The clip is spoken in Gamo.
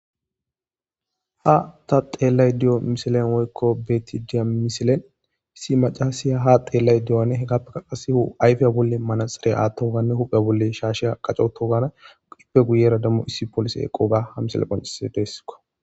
Ha ta xeliadda diya misileni woyiko beyadda diya missilen issi maccasiya haa xelayidda diyarone iyaka ayifeni manaxxire attogane huphe bolli shashe qaccogga ii giyera qassi issi poliseyi eqogga qonccisesi.